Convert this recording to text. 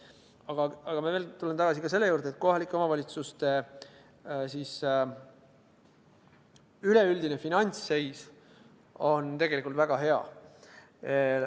Aga ma tulen veel kord tagasi selle juurde, et kohalike omavalitsuste üleüldine finantsseis on tegelikult väga hea.